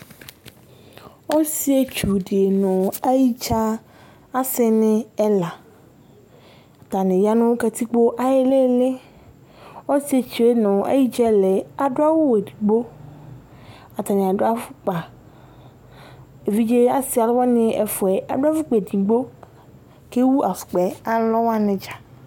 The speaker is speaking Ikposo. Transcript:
Ɔsietsu di nu ayidza asini ɛla Atani ya nu katikpo ayu iliili Ɔsietsu yɛ nu ayidza ɛla yɛ adu awu edigbo Atani adu afɔkpa Evidze asi aluwani ɛfua yɛ adu afɔkpa edigbo kewu afɔkpa yɛ alɔwani dza